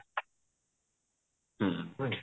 ହୁଁ ହୁଁ